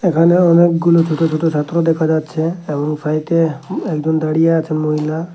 এখানে অনেকগুলো ছোট ছোট ছাত্র দেখা যাচ্ছে এবং সাইড -এ একজন দাঁড়িয়ে আছে মহিলা।